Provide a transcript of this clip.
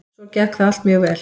Svo gekk það allt mjög vel.